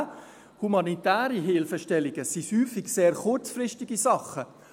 Humanitäre Hilfestellungen sind häufig sehr kurzfristige Sachen.